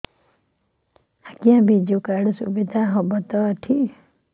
ଆଜ୍ଞା ବିଜୁ କାର୍ଡ ସୁବିଧା ହବ ତ ଏଠି